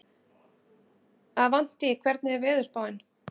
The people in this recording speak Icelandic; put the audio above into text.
Avantí, hvernig er veðurspáin?